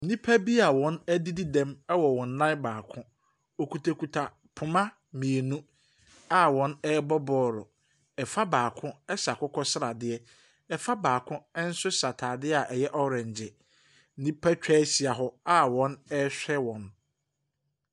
Nnipa bi a wɔadidi dɛm wɔ wɔn nan baako. Wɔkitakita poma mmienu a wɔrebɔ bɔɔlo. Fa baako hyɛ akokɔsradeɛ. Fa baako nso hyɛ atadeɛ a ɛyɛ orange. Nnipa atwa ahyia hɔ a wɔrehwa wɔn.